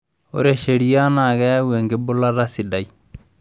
Ore sheria naa keyau enkibulata sidai.